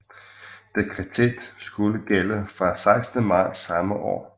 Dekretet skulle gælde fra 16 marts samme år